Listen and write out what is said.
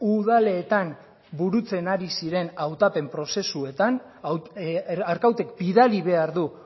udaletan burutzen ari ziren hautapen prozesuetan arkautek bidali behar du